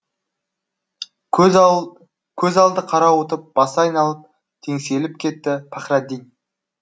көз алды қарауытып басы айналып теңселіп кетті пахраддин